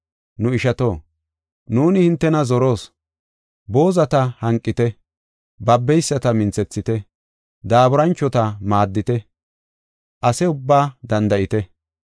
Nu ishato, nuuni hintena zoroos. Boozata hanqite; babeyisata minthethite; daaburanchota maaddite; ase ubbaa danda7ite.